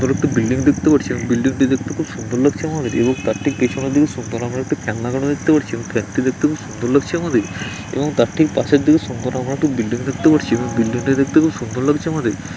এখানে একটি বিল্ডিং দেখতে পাচ্ছি | এবং বিল্ডিং টি দেখতে খুব সুন্দর লাগছে আমাদের | এবং তার ঠিক পেছনের দিকে সুন্দর আমরা একটি ফ্যান লাগানো দেখতে পাচ্ছি | এবং ফ্যান টি দেখতে খুব সুন্দর লাগছে আমাদের | এবং তার ঠিক পাশের দিকে সুন্দর আমরা একটি বিল্ডিং দেখতে পাচ্ছি | এবং বিল্ডিং টি দেখতে খুব সুন্দর লাগছে আমাদের।